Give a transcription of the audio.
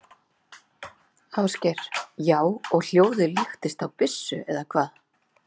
Ásgeir: Já, og hljóðið líkist þá byssu eða hvað?